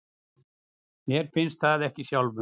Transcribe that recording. Mér finnst það ekki sjálfum.